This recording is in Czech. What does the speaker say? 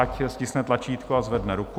Ať stiskne tlačítko a zvedne ruku.